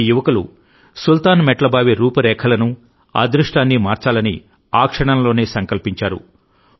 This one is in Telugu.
ఈ యువకులు సుల్తాన్ మెట్ల బావి రూపురేఖలను అదృష్టాన్ని మార్చాలనిఆ క్షణంలోనే సంకల్పించారు